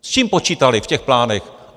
S čím počítali v těch plánech?